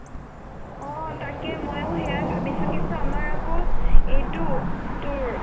অ তাকেই মইও সেইৱাই ভাবিছো কিন্তু আমাৰ আকৌ এইটো তোৰ